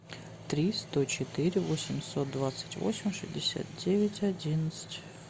три сто четыре восемьсот двадцать восемь шестьдесят девять одиннадцать